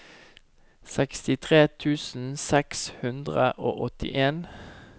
sekstitre tusen seks hundre og åttien